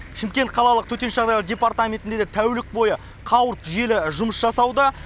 шымкент қалалық төтенше жағдайлар департаментінде де тәулік бойы қауырт желі жұмыс жасауда